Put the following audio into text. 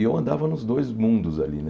E eu andava nos dois mundos ali, né?